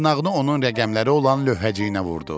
Dırnağını onun rəqəmləri olan lövhəciyinə vurdu.